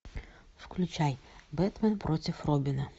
включай бэтмен против робина